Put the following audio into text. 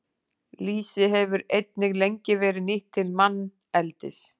Lýsi hefur einnig lengi verið nýtt til manneldis.